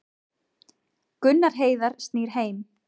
Gunnar Heiðar snýr heim